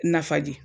Nafa di